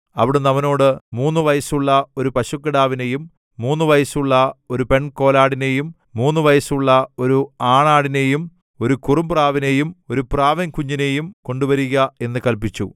അവിടുന്ന് അവനോട് മൂന്നുവയസ്സുള്ള ഒരു പശുക്കിടാവിനെയും മൂന്നുവയസ്സുള്ള ഒരു പെൺകോലാടിനെയും മൂന്നുവയസ്സുള്ള ഒരു ആണാടിനെയും ഒരു കുറുപ്രാവിനെയും ഒരു പ്രാവിൻകുഞ്ഞിനെയും കൊണ്ടുവരിക എന്നു കല്പിച്ചു